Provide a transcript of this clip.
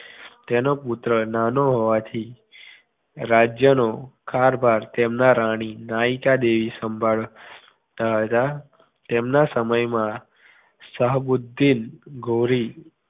તેનો પુત્ર નાનો હોવાથી રાજ્યનો કારભાર તેમના રાણી નાયિકાદેવી સંભાળતા હતા તેમના સમય મા શાહબુદ્ધિન ગોરી